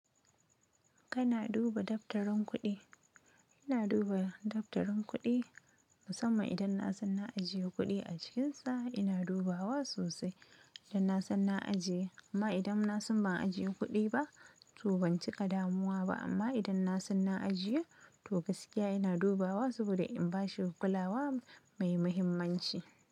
Kana duba daftarin kuɗi? Ina duba daftarin kuɗi musamman idan na san na ajiye kuɗi a cikinsa ina dubawa sosai idan na san na ajiye. Amma idan na san ban ajiye kuɗi ba, to ban cika damuwa ba. Amma idan na san na ajiye, to gaskiya ina dubawa saboda in bashi kulawa mai muhimmanci.